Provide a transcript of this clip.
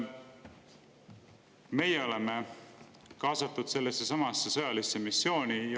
Meie oleme kaasatud sellessesamasse sõjalisse missiooni.